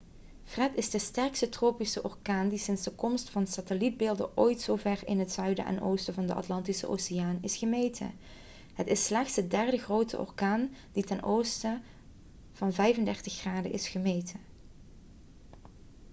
fred is de sterkste tropische orkaan die sinds de komst van satellietbeelden ooit zo ver in het zuiden en oosten van de atlantische oceaan is gemeten. het is slechts de derde grote orkaan die ten oosten van 35°w is gemeten